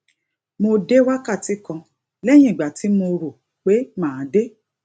mo dé wákàtí kan léyìn ìgbà tí mo rò pé màá dé